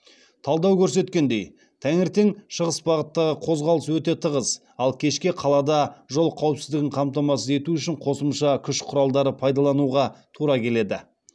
талдау көрсеткендей таңертең шығыс бағыттағы қозғалыс өте тығыз ал кешке қалада жол қауіпсіздігін қамтамасыз ету үшін қосымша күш құралдары пайдалануға тура келеді